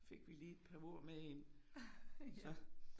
Fik vi lige et par ord med ind så